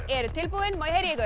eru tilbúin má ég